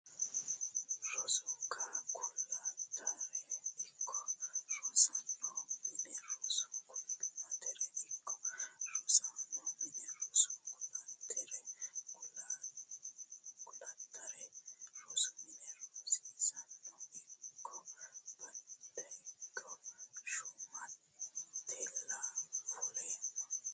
rosu Kulattaere ikko rosiisaanono mine rosu Kulattaere ikko rosiisaanono mine rosu Kulattaere Kulattaere rosu mine rosiisaanono ikko Beeddakko Shumatella fuloomma !